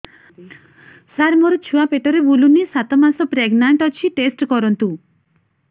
ସାର ମୋର ଛୁଆ ପେଟରେ ବୁଲୁନି ସାତ ମାସ ପ୍ରେଗନାଂଟ ଅଛି ଟେଷ୍ଟ କରନ୍ତୁ